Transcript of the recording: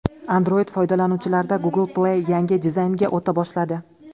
Android foydalanuvchilarida Google Play yangi dizaynga o‘ta boshladi.